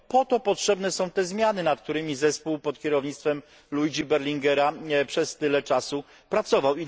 Po to potrzebne są te zmiany, nad którymi zespół pod kierownictwem Luigiego Berlinguera przez tyle czasu pracował.